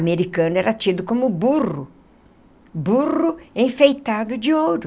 Americano era tido como burro, burro enfeitado de ouro.